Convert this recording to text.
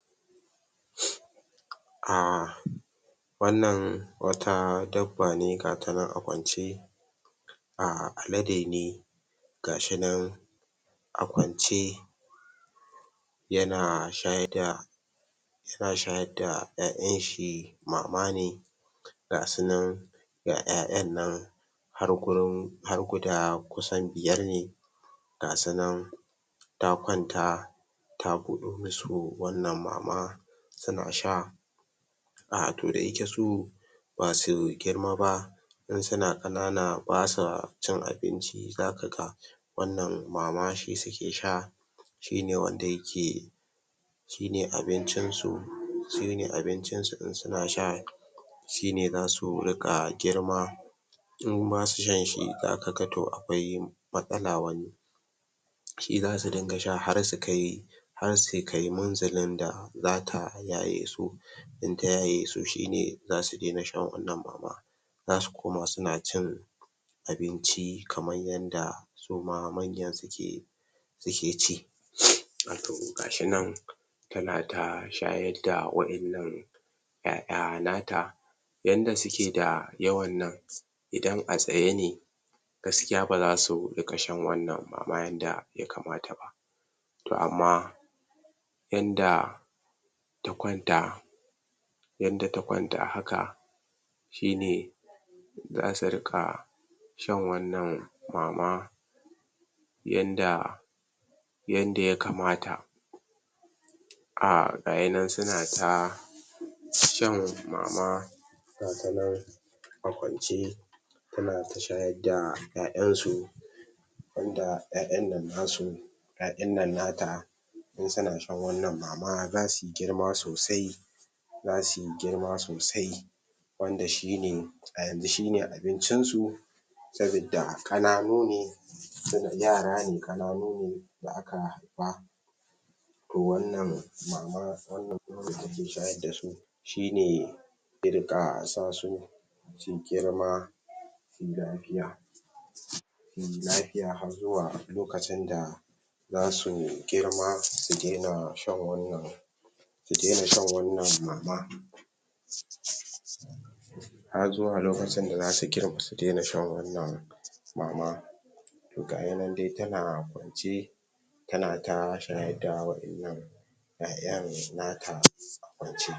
Harira ta shirya zuwa dubiyar ‘yar ƙanwarta gobe a Asibitin Murtala